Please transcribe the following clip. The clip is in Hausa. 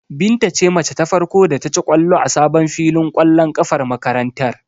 Binta ce mace ta farko da ta ci ƙwallo a sabon filin ƙwallon ƙafar makarantar.